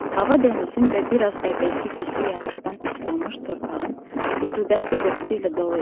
Hava dənizin və bir az əvvəlki güclü yağışdan islanmış torpağın rütubətli qoxusu ilə dolu idi.